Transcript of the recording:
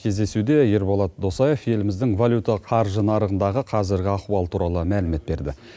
кездесуде ерболат досаев еліміздің валюта қаржы нарығындағы қазіргі ахуал туралы мәлімет берді